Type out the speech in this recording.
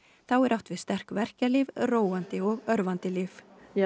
þá er átt við sterk verkjalyf róandi og örvandi lyf